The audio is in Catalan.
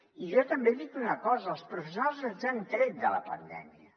i jo també dic una cosa els professionals ens han tret de la pandèmia